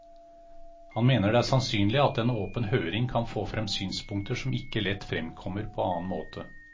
Han mener det er sannsynlig at en åpen høring kan få frem synspunkter som ikke lett fremkommer på annen måte.